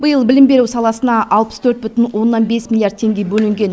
биыл білім беру саласына алпыс төрт бүтін оннан бес миллиард теңге бөлінген